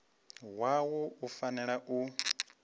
wa wua u fanela u